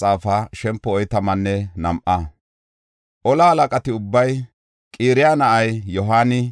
Tora moconati ubbay, Qaraya na7ay Yohaani,